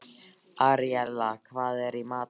Aríella, hvað er í matinn?